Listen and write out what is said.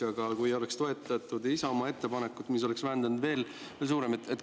Aga kui oleks toetatud Isamaa ettepanekut, siis oleks.